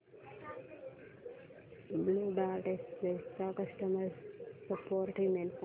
blue dart express चा customer support email सांग